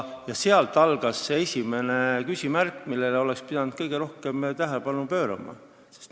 Seal tekkis see esimene küsimärk, millele oleks pidanud kõige rohkem tähelepanu pöörama.